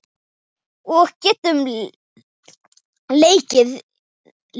Og getur leikið líka.